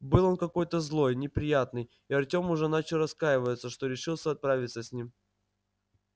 был он какой-то злой неприятный и артём уже начал раскаиваться что решился отправиться с ним